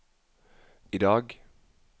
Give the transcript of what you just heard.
idag